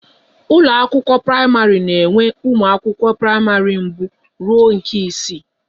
Ụlọ akwụkwọ praịmarị na enwe ụmụ akwụkwọ praịmarị mbụ rụọ na isii